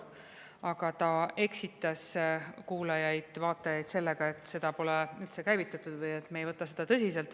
Aga ta eksitas kuulajaid-vaatajaid sellega, et seda pole üldse käivitatud või et me ei võta seda tõsiselt.